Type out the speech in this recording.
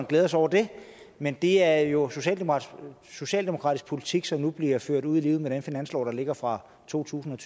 glæder sig over det men det er jo socialdemokratisk politik som nu bliver ført ud i livet med den finanslov der ligger fra totusinde